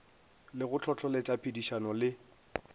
le go hlohloletša phedišano le